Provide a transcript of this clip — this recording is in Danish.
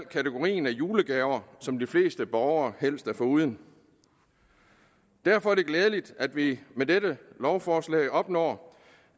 kategori af julegaver som de fleste borgere helst er foruden derfor er det glædeligt at vi med dette lovforslag opnår